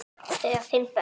Þau eiga fimm börn